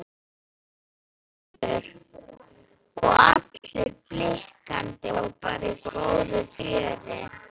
Þórhildur: Og allir blikkandi og bara í góðu fjöri?